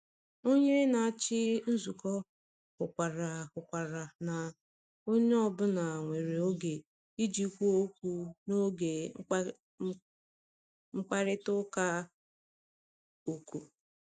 Onye na-achị nzukọ hụkwara hụkwara na onye ọ bụla nwere oge iji kwuo okwu n’oge mkparịta ụka ọkụ.